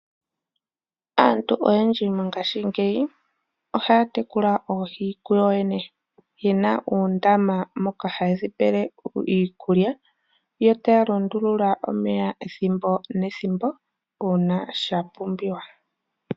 Oyendji mongaashingeyi ohaatekula oohi kuyoyene yena uundama moka haye dhipele iikulya, yo taya lundulula omeya ethimbo nethimbo uuna sha pumbiwa.